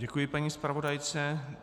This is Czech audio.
Děkuji paní zpravodajce.